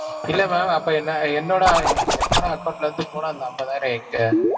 இல்ல ma'am அப்ப என்ன~ என்னோட என்னோட account ல இருந்து போன அந்த ஐம்பதாயிரம் எங்க?